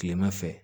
Kilema fɛ